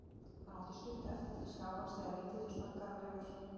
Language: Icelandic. Hann átti stutt eftir til skálans þegar lítill og snaggaralegur